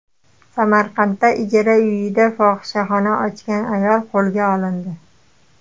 Samarqandda ijara uyida fohishaxona ochgan ayol qo‘lga olindi.